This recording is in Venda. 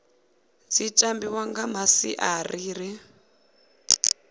dzi tambiwa nga masiari ḽi